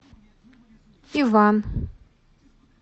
иван